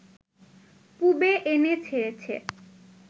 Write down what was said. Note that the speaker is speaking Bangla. পুবে এনে ছেড়েছে